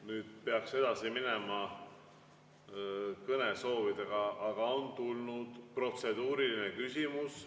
Nüüd peaks edasi minema kõnesoovidega, aga on tulnud protseduuriline küsimus.